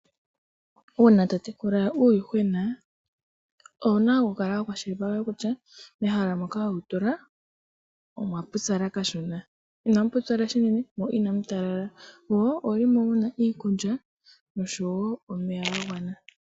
Uuna totekula uuyuhwena owuna okukala wakwashilipaleka kutya mehala moka wewutula omwapupyala kashona, inamu pupyala unene mo inamu tala moomuna iikulya oshowo omeya ga gwana.